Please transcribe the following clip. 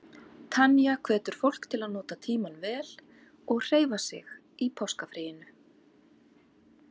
Tanya hvetur fólk til að nota tímann vel og hreyfa sig í páskafríinu.